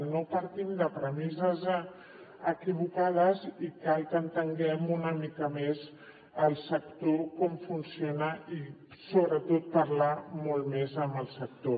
no partim de premisses equivocades i cal que entenguem una mica més el sector com funciona i sobretot parlar molt més amb el sector